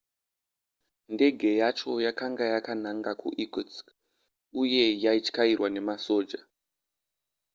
ndege yacho yakanga yakananga kuirkutsk uye yaityairwa nemasoja